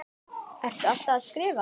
Ertu alltaf að skrifa?